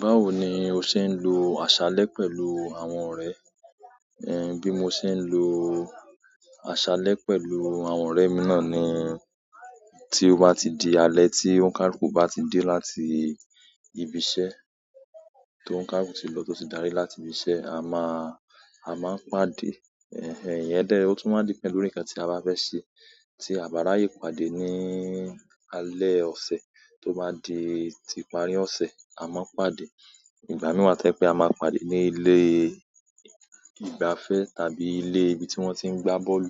Báwo ni o ṣe ń lo àṣálẹ́ pẹ̀lú àwọn ọ̀rẹ́? Bi mo see n lo asale pẹ̀lú àwọn ọ̀rẹ́ mi na ni ti oba ti di alẹ́ ti olukaluku baati de láti ibise, toluka luku ba ti lo dari láti ibise ama n pàdé. Ẹ̀hẹ̀n, èyí da, ó tún wa deal pẹ́lu ǹkan tí a bá fẹ́ sẹ. Tí a bá ráyè pàdé ní alẹ́ ọ̀sẹ̀ tó bá di ti ìpàri ọ̀sẹ̀, a máa ń pàdé. Ìgbà mìíràn tẹ́ pẹ́ a máa pàdé ní ilé ìgbafẹ́ tàbí ilé ibi tí wọ́n ti ń gbá bọ́ọ̀lù,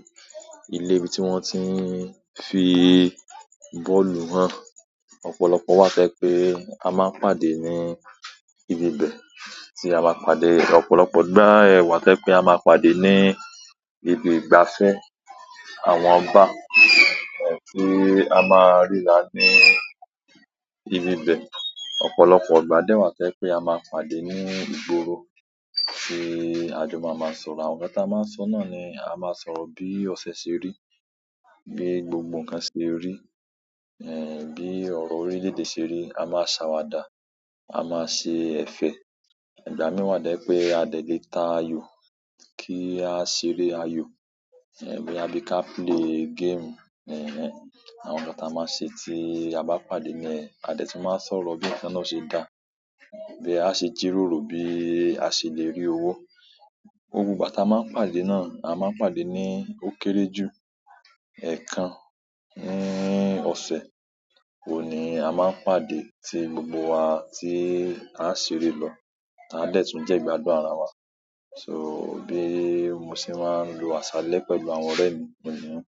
ilé ibi tí wọ́n ti ń fi bọ́ọ̀lù hàn. Ọ̀pọ̀lọpọ̀ wá to jepe a máa ń pàdé ní ibi bẹ̀ tí a máa pàdé. Ọ̀pọ̀lọpọ̀ ìgbà ẹ wá tẹ́ pẹ́ a máa pàdé ní ibi ìgbafẹ́ àwọn bar, ẹ̀hẹ̀n, tí a máa rì ra ní ibi bẹ̀. Ọ̀pọ̀lọpọ̀ ìgbà dẹ́ wá to jépé a máa pàdé ní ìgboro tí a jọ máa máa sọ̀rọ̀. Àwọn nkan ti a máa ń sọ̀ náà ni a máa ń sọ̀rọ̀ bí ọ̀sẹ̀ ṣe rí, bí gbogbo ǹkan ṣe rí, ẹ̀hẹ̀n, bí ọ̀rọ̀ orílẹ̀-èdè ṣe rí. A máa ń ṣàwàdà, a máa ń ṣe ẹ̀fẹ̀. Ìgbà mìíràn wa to jé pẹ́ a dẹ̀ le ta ayò kí a ṣeré ayò. Ẹ̀hẹ̀n, bo ya bi ká play game, ẹ̀hẹ̀n, àwọn nkan táa máa ń ṣe tí a bá pàdé níyen, a dẹ̀ tún máa ń sọ̀rọ̀ bí ǹkan náà o ṣe dá, bí a ṣe jí ròrò, bí a ṣe lè rí owó. Gbogbo ìgbà táa máa ń pàdé náà, a máa ń pàdé ní ó kéré jù ẹ̀ẹ̀kan ní ọ̀sẹ̀. Òun ni a máa ń pàdé tí gbogbo wa tí à ṣeré lọ. A dẹ̀ tún jẹ́ ìgbádùn ara wa. So bí mo ṣe máa ń lo àṣálẹ́ pẹ̀lú àwọn ọ̀rẹ́ mi, òun nìyẹn ó.